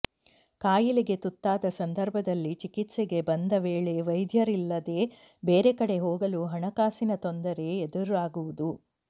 ಕಾಯಿಲೆಗೆ ತುತ್ತಾದ ಸಂದರ್ಭದಲ್ಲಿ ಚಿಕಿತ್ಸೆಗೆ ಬಂದ ವೇಳೆ ವೈದ್ಯರಿಲ್ಲದೇ ಬೇರೆ ಕಡೆ ಹೋಗಲು ಹಣಕಾಸಿನ ತೊಂದರೆ ಎದುರಾಗುವುದು